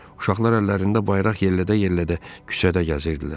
Uşaqlar əllərində bayraq yellədə-yellədə küçədə gəzirdilər.